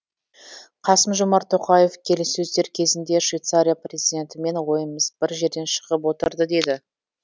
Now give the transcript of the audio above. қасым жомарт тоқаев келіссөздер кезінде швейцария президентімен ойымыз бір жерден шығып отырды деді